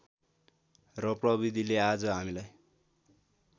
र प्रविधिले आज हामीलाई